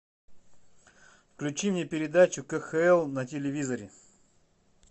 включи мне передачу кхл на телевизоре